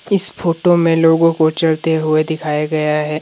इस फोटो में लोगों को चलते हुए दिखाया गया है।